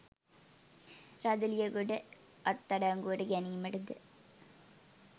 රදලියගොඩ අත්අඩංගුවට ගැනීමටද